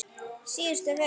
Síðustu fötin.